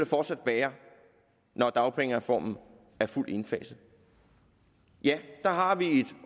fortsat være når dagpengereformen er fuldt indfaset der har vi et